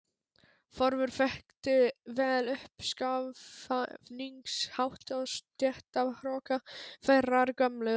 Þórður þekkti vel uppskafningshátt og stéttahroka þeirrar gömlu